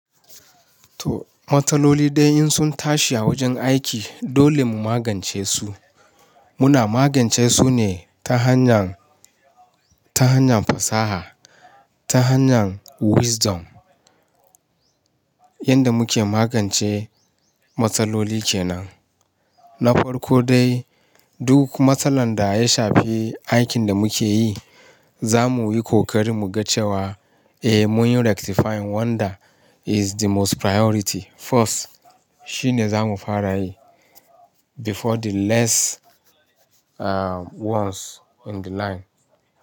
To matsaloli dai in sun tashi a wajen aiki dole mu magance su. Muna magance su ne ta hanyar, ta hanyar fasaha, ta hanyar wisdom. Yanda muke magance matsaloli kenan. Na farko dai duk matsalar da ya shafi aikin da muke yi, za mu yi kokarin mu ga cewa eh mun yi rectifying one that is the most priority first shine za mu fara yi before the less uh ones on the line.